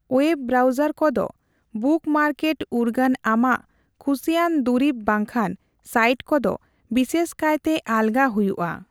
Web browser ᱠᱚᱫᱚ bookmark ᱩᱨᱜᱟᱹᱱ ᱟᱢᱟᱜ ᱠᱷᱩᱥᱤᱭᱟᱱ ᱫᱩᱨᱤᱵ ᱵᱟᱝᱠᱷᱟᱱ ᱥᱟᱭᱤᱴ ᱠᱚᱫᱚ ᱵᱤᱥᱮᱥ ᱠᱟᱭᱛᱮ ᱟᱞᱜᱟ ᱦᱚᱭᱩᱜ ᱟ ᱾